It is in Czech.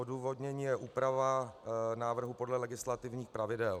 Odůvodnění je úprava návrhu podle legislativních pravidel.